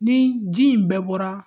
Ni ji in bɛɛ bɔra